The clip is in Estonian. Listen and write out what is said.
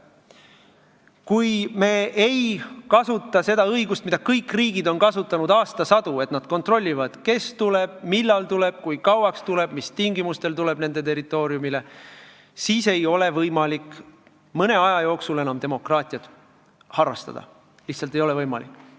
Kui me ei kasuta seda õigust, mida kõik riigid on kasutanud aastasadu, et nad kontrollivad, kes, millal, kui kauaks ja mis tingimustel nende territooriumile tuleb, siis ei ole võimalik mõne aja jooksul enam demokraatiat harrastada, lihtsalt ei ole võimalik.